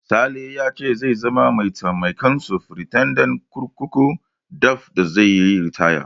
Sale ya ce zai zama mataimakin sufritandan kurkuku daf da zai yi ritaya.